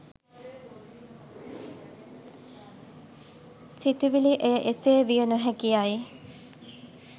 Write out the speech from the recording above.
සිතුවිළි එය එසේ විය නොහැකි යයි